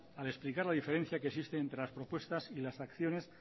al explicar la diferencia que existe entre las propuestas y las acciones